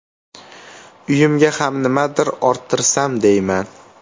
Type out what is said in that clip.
Uyimga ham nimadir orttirsam deyman.